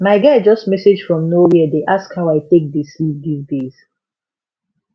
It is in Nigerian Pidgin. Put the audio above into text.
my guy just message from nowhere dey ask how i take dey sleep these days